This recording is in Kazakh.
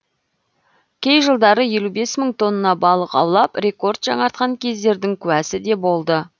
кей жылдары елу бес мың тонна балық аулап рекорд жаңартқан кездердің куәсі де болды